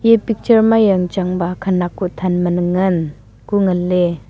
picture ma yang chang ba khanak huthan man ngan ku nganley.